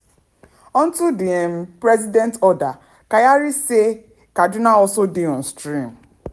unto di um president order kyari say: "kaduna also dey on stream.